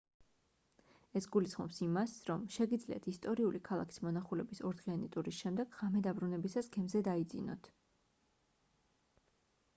ეს გულისხმობს იმას რომ შეგიძლიათ ისტორიული ქალაქის მონახულების ორდღიანი ტურის შემდეგ ღამე დაბრუნებისას გემზე დაიძინოთ